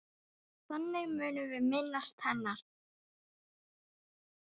Þannig munum við minnast hennar.